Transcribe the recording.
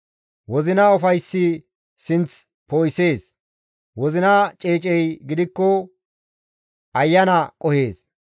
Wozina ufayssi sinth poo7isees; wozina ceecey gidikko ayana qohees.